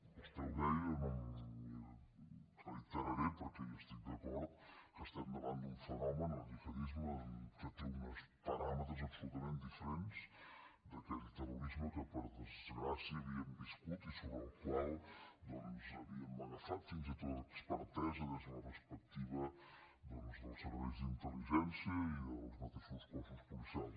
vostè ho deia no m’hi reiteraré perquè hi estic d’acord que estem davant d’un fenomen el gihadisme que té uns paràmetres absolutament diferents d’aquell terrorisme que per desgràcia havíem viscut i sobre el qual doncs havíem agafat fins i tot expertesa des de la perspectiva dels serveis d’intel·mateixos cossos policials